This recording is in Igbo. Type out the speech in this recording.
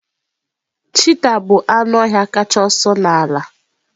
Cheetah bụ anụ ọhịa kacha ọsọ n'ala